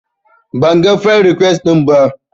Banga firend rikwes ɗinki ba